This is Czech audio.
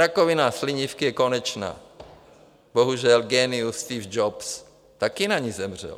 Rakovina slinivky je konečná, bohužel génius Steve Jobs také na ni zemřel.